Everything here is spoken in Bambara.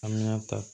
An bɛna ta